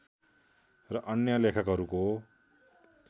र अन्य लेखकहरूको